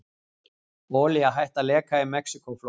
Olía hætt að leka í Mexíkóflóa